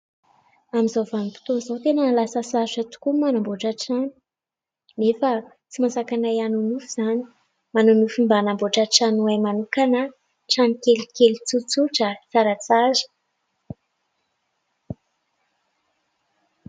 Amin'izao vanim-potoana izao tena lasa sarotra tokoa ny manamboatra trano nefa tsy mahasakana ahy hanonofy izany. Manana nofy mba hanamboatra trano ho ahy manokana aho, trano kelikely tsotsotra, tsaratsara.